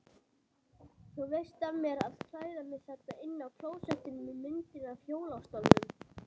Þú veist af mér að klæða mig þarna inni á klósettinu með myndinni af hjólastólnum.